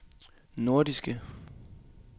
nordiske